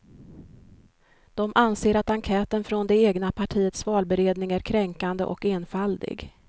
De anser att enkäten från det egna partiets valberedning är kränkande och enfaldig.